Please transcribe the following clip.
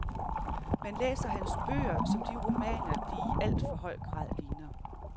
Man læser hans bøger som de romaner, de i alt for høj grad ligner.